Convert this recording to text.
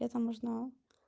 это можно